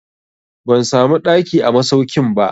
Ban samu ɗaki a masaukin ba.